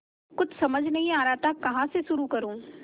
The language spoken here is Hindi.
कुछ समझ नहीं आ रहा था कहाँ से शुरू करूँ